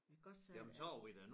Jeg kan godt sige at